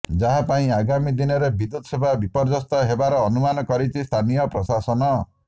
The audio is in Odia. ଯାହା ପାଇଁ ଆଗାମୀ ଦିନରେ ବିଦ୍ୟୁତ ସେବା ବିପର୍ଯ୍ୟସ୍ତ ହେବାର ଅନୁମାନ କରିଛି ସ୍ଥାନୀୟ ପ୍ରଶାସନ